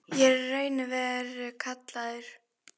Ég er í raun og veru kallaður.